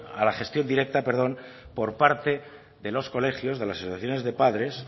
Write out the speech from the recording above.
a la gestión directa por parte de los colegios de las asociaciones de padres